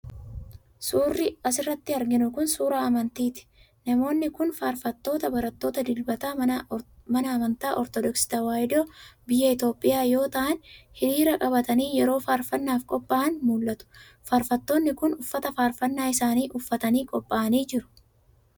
Suurri as irratti arginu kun, suura amantiiti. Namoonni kun ,faarfattoota barattoota dilbataa mana amantaa Ortodooksii Tawaahidoo biyya Itophiyaa yoo ta'an ,hiriira qabatanii yeroo faarfannaaf qoph'an mul'atu. Faarfattoonni kun, uffata faarfanna isaanii uffatanii qopha'anii jiru.